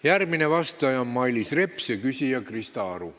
Järgmine vastaja on Mailis Reps ja küsija Krista Aru.